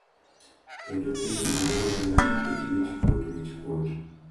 Kendo timbe mag oganda nikech wich kuot, wich kuot,